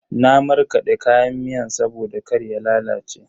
Na markade kayan miyan saboda kar ya lalace.